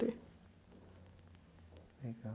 Legal.